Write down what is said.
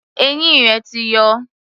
Eyín rẹ̀ ti yọ.